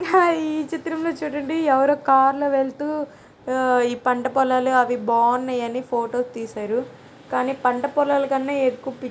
hi ఈ చిత్రంలో చుడండి ఎవరో కార్ లో వెళ్తూ ఈ పంట పొలాలు అవి బావున్నాయి అని ఫొటోస్ తీసారు కాని పంట పొలాల కన్నా ఎక్కువ ప--